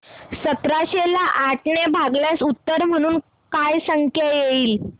सतराशे ला आठ ने भागल्यास उत्तर म्हणून काय संख्या येईल